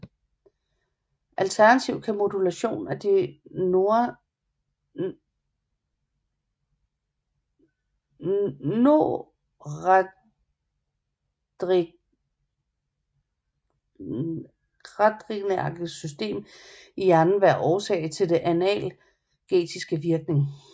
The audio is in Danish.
Alternativt kan modulation af det noradrenerge system i hjernen være årsag til den analgetiske virkning